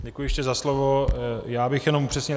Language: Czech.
Děkuji ještě za slovo, já bych jen upřesnil.